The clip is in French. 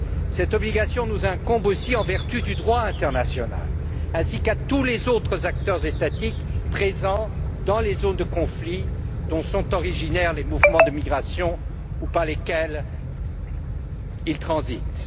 Cette obligation nous incombe aussi en vertu du droit international ainsi qu'à tous les autres acteurs étatiques présents dans les zones de conflit dont sont originaires les mouvements de migration ou par lesquels ils transitent.